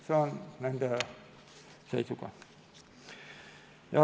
See on nende seisukoht.